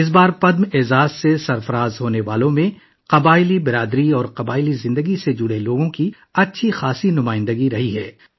اس بار پدم ایوارڈ پانے والوں میں قبائلی برادری اور قبائلی زندگی سے وابستہ لوگوں کو اچھی نمائندگی ملی ہے